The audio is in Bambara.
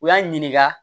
U y'an ɲininka